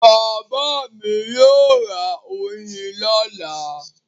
Bàbá mi yóò ra oyin lọ́la.